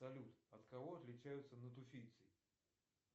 салют от кого отличаются натуфийцы